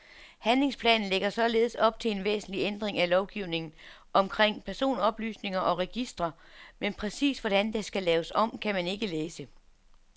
Handlingsplanen lægger således op til en væsentlig ændring af lovgivningen omkring personoplysninger og registre, men præcist, hvordan der skal laves om, kan man ikke læse.